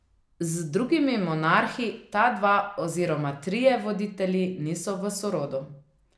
Z drugimi monarhi ta dva oziroma trije voditelji niso v sorodu.